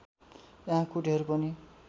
यहाँ कुटीहरू पनि